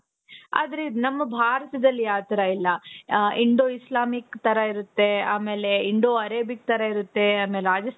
ಆದ್ರೆ ನಮ್ಮ ಭಾರತದಲ್ಲಿ ಆತರ ಇಲ್ಲ ಅ Indo Islamic ತರ ಇರುತ್ತೆ ಆಮೇಲೆ Indo Arabic ತರ ಇರುತ್ತೆ ಆಮೇಲೆ